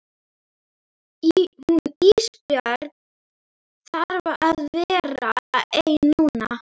Hún Ísbjörg þarf að vera ein núna.